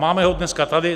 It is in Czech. Máme ho dneska tady.